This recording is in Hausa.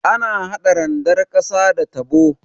Ana hada randar ƙasa da tabo.